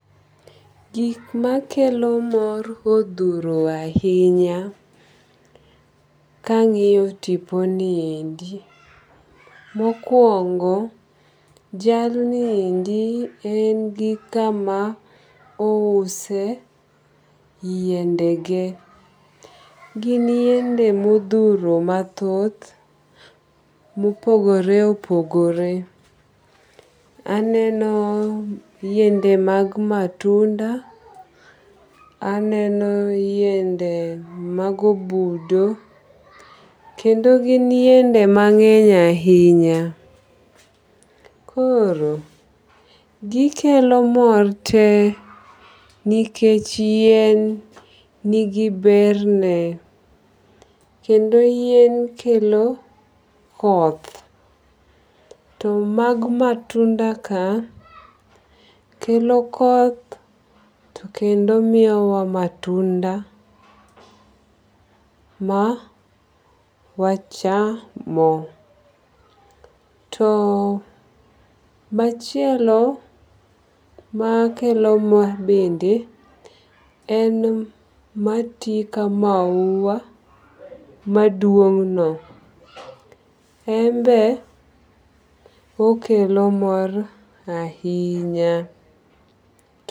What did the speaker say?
Gik makelo mor odhuro ahinya kang'iyo tipo niendi. Mokuongo jalniendi en gi kama ouse yiende ge. Gin yiende modhuro mathoth mopogore opogore. Aneno yiende mag matunda. Aneno yiende mag obudo. Kendo gin yiende mang'eny ahinya. Koro gikelo mor te nikech yien nigi berne. Kendo yien kelo koth. To mag matunda ka kelo koth kendo miyo wa matunda ma wachamo. To machielo makelo mor bende en mati ka mahua maduong' no. En be okelo mor ahinya.